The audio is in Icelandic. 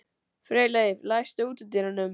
Freyleif, læstu útidyrunum.